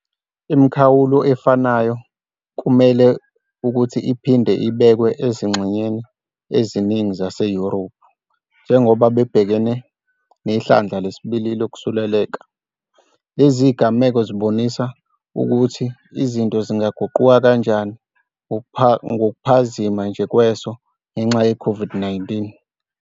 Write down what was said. Imikhawulo efanayo kumele ukuthi iphinde ibekwe ezingxenyeni eziningi zaseYurophu njengoba bebhekane 'nehlandla lesibili' lokusuleleka. Lezi zigameko zibonisa ukuthi izinto zingaguquka kanjani ngokuphazima nje kweso ngenxa yeCOVID-19.